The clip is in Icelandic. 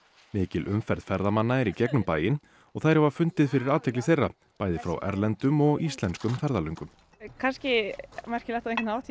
mikil umferð ferðamanna er í gegnum bæinn og þær hafa fundið fyrir athygli þeirra bæði frá erlendum og íslenskum ferðalöngum það er kannski merkilegt á einhvern hátt ég